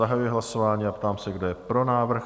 Zahajuji hlasování a ptám se, kdo je pro návrh?